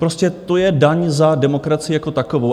Prostě to je daň za demokracii jako takovou.